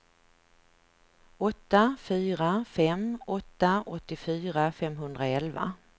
åtta fyra fem åtta åttiofyra femhundraelva